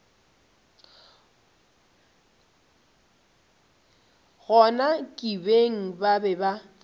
gona kibeng ba be ba